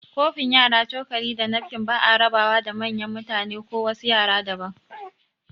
Kofin yara, cokali, da nafkin ba'a raba wa da manyan mutane ko wasu yara daban